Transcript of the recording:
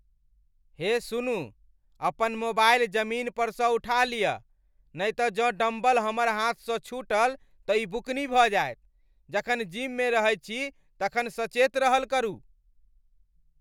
हे सुनू, अपन मोबाइल जमीन परसँ उठा लियऽ, नहि तँ जँ डम्बल हमर हाथसँ छूटल तँ ई बुकनी भऽ जायत, जखन जिममे रहैत छी तखन सचेत रहल करू।